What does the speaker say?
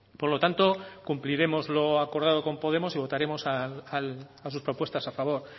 por lo tanto cumpliremos lo acordado con podemos y votaremos a sus propuestas a favor